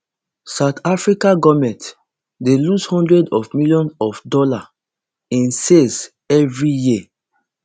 south african govment dey lose hundreds of millions of dollars in sales evri year